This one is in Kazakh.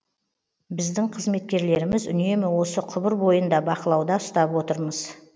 біздің қызметкерлеріміз үнемі осы құбыр бойын да бақылауда ұстап отырмыз